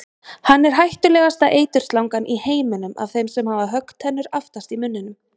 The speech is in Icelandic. Hann er hættulegasta eiturslangan í heiminum af þeim sem hafa höggtennur aftast í munninum.